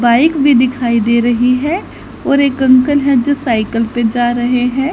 Bike भी दिखाई दे रही है और एक अंकल हैं जो साइकिल पे जा रहे हैं।